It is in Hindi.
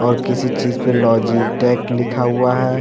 और किसी चीज पर लोजी टेक लिखा हुआ है।